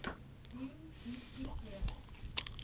фильм китти кэт